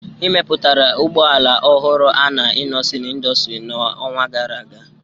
Emepụtara ụgbọ ala ọhụrụ a na Innoson Industry n'ọnwa gara aga